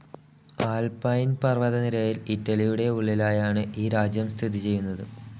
Alpine പർവ്വതനിരയിൽ ഇറ്റലിയുടെ ഉള്ളിലായാണ് ഈ രാജ്യം സ്ഥിതി ചെയ്യുന്നത്.